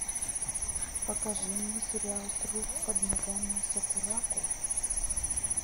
покажи мне сериал труп под ногами сакурако